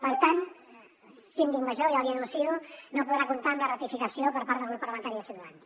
per tant síndic major ja l’hi anuncio no podrà comptar amb la ratificació per part del grup parlamentari de ciutadans